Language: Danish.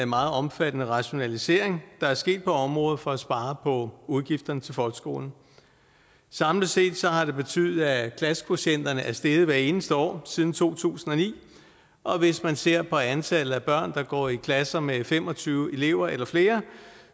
meget omfattende rationalisering der er sket på området for at spare på udgifterne til folkeskolen samlet set har det betydet at klassekvotienterne er steget hvert eneste år siden to tusind og ni og hvis man ser på antallet af børn der går i klasser med fem og tyve elever eller flere